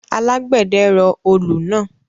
Alágbẹ̀dẹ rọ olù náà